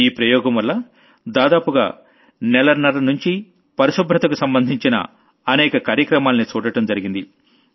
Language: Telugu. ఈ ప్రయోగం వల్ల దాదాపుగా నెలన్నర ముంచీ పరిశుభ్రతకు సంబంధించిన అనేక కార్యక్రమాల్ని చూడడం జరిగింది